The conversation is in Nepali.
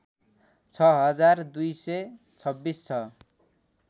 छ हजार २२६ छ